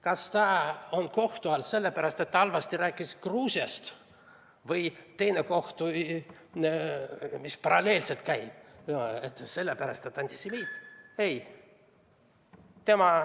Kas ta on kohtu all sellepärast, et rääkis halvasti Gruusiast, või sellepärast, et on antisemiit?